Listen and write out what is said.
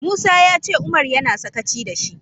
Musa ya ce Umar yana sakaci da shi.